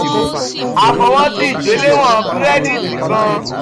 a fọwọsi igbelewọn kirẹditi kan